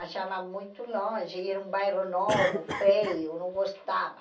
achava muito longe, era um bairro novo, feio, não gostava.